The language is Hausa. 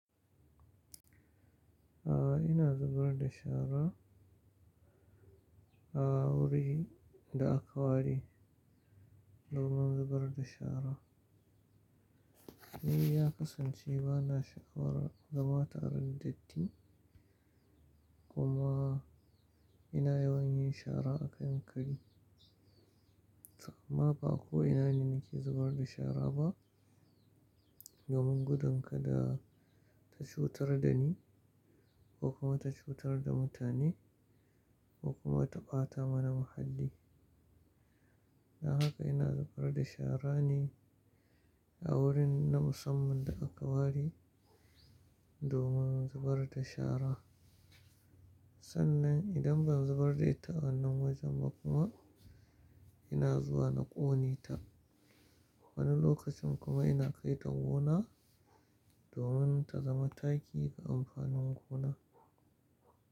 A ina zubar da shara? A wuri da aka ware domin zubar da shara. Ni ya kasance ba na sha'awarar zama tare da datti kuma ina yawan yin shara a kan kari. To amma ba ko ina ne nake zubar da shara ba domin gudun kada ta cutar da ni ko kuma ta cutar da mutane ko kuma ta ɓata mana muhalli. Don haka ina zubar da shara ne a wurin na musamman da aka ware domin zubar da shara. Sannan idan ban zubar da ita a wannan wajen ba kuma ina zuwa na ƙone ta. Wani lokacin kuma ina kai ta gona domin ta zama taki ga amfanin gona.